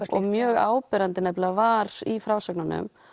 mjög áberandi var í frásögnunum